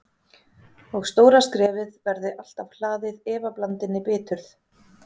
Og stóra skrefið verði alltaf hlaðið efablandinni biturð.